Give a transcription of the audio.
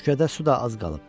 Şükürdə su da az qalıb.